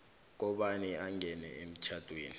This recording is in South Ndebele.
kobana angene emtjhadweni